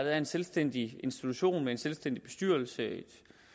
er en selvstændig institution med en selvstændig bestyrelse